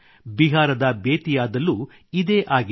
ಬಿಹಾರದ ಬೇತಿಯಾದಲ್ಲೂ ಇದೇ ಆಗಿದೆ